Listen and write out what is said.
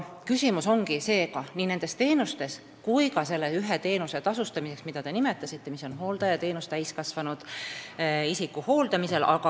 Küsimus on seega nii teistes teenustes kui ka selles täiskasvanud isiku hooldamise teenuse tasustamises, mida te nimetasite.